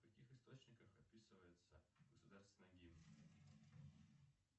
в каких источниках описывается государственный гимн